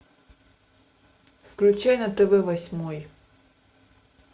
включай на тв восьмой